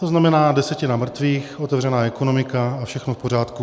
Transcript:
To znamená desetina mrtvých, otevřená ekonomika a všechno v pořádku.